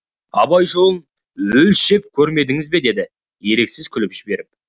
абай жолын өлшеп көрмедіңіз бе деді еріксіз күліп жіберіп